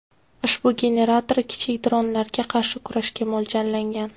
Ushbu generator kichik dronlarga qarshi kurashga mo‘ljallangan.